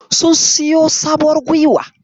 Sun siyo sabuwar guiwa.